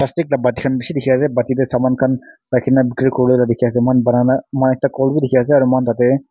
thikla bati khan bishi dekhi ase bati tae saman khan rakhina na bikiri kurivo lae la dekhi ase moi khan banana moi khna kol vi ekta dekhi ase aru moi khan tatey.